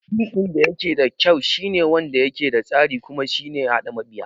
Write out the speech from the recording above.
Fim ɗin dayake da kyau shine wanda yake da tasiri kuma shine haɗa mabiya